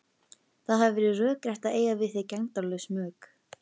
Það hefði verið rökrétt að eiga við þig gegndarlaus mök.